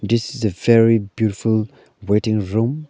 this is a very beautiful waiting room.